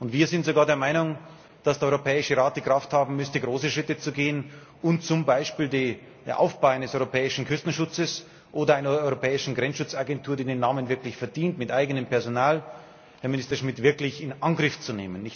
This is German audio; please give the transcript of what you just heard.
und wir sind sogar der Meinung, dass der Europäische Rat die Kraft haben müsste, große Schritte zu gehen und zum Beispiel den Aufbau eines europäischen Küstenschutzes oder einer europäischen Grenzschutzagentur, die den Namen wirklich verdient, mit eigenem Personal, Herr Minister Schmit, wirklich in Angriff zu nehmen.